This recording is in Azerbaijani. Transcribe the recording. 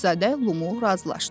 Şahzadə Lumu razılaşdı.